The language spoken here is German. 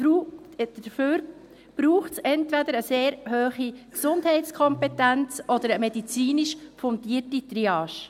Dafür braucht es entweder eine sehr hohe Gesundheitskompetenz oder eine medizinisch fundierte Triage.